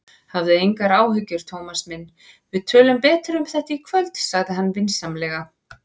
Hafðu engar áhyggjur, Thomas minn, við tölum betur um þetta í kvöld sagði hann vinsamlega.